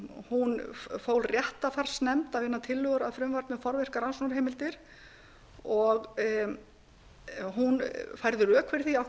hún fól réttarfarsnefnd að vinna tillögur að frumvarpi um forvirkar rannsóknarheimildir hún færði rök fyrir því af hverju hún